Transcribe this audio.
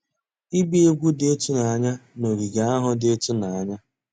Ịgba egwu dị ịtụnanya na ogige ahụ dị ịtụnanya.